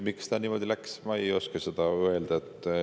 Miks ta niimoodi läks, seda ma ei oska öelda.